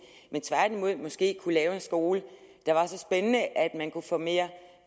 men tværtimod måske kunne lave en skole der var så spændende at man kunne få mere